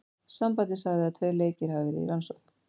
Sambandið sagði að tveir leikir hafi verði í rannsókn.